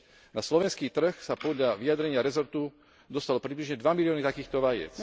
Na slovenský trh sa podľa vyjadrenia rezortu dostalo približne 2 milióny takýchto vajec.